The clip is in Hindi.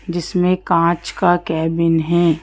जिसमें कांच का कैबिन है।